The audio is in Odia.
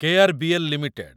କେ.ଆର.ବି.ଏଲ୍. ଲିମିଟେଡ୍